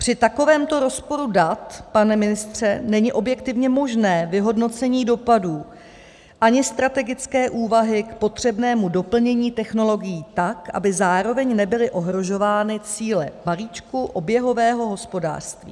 Při takovémto rozporu dat, pane ministře, není objektivně možné vyhodnocení dopadů, ani strategické úvahy k potřebnému doplnění technologií tak, aby zároveň nebyly ohrožovány cíle balíčku oběhového hospodářství.